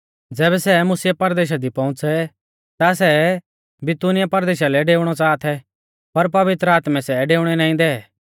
ज़ैबै सै मुसिया परदेशा दी पौउंच़ै ता सै बितूनिया परदेशा लै डेऊणौ च़ाहा थै पर पवित्र आत्मै सै डेउणै नाईं दै